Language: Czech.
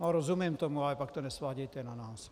No, rozumím tomu, ale pak to nesvádějte na nás.